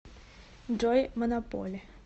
джой монополи